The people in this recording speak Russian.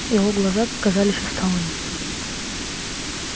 его глаза казались усталыми